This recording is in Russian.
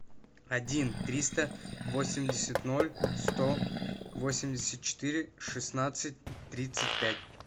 один триста восемьдесят ноль сто восемьдесят четыре шестнадцать тридцать пять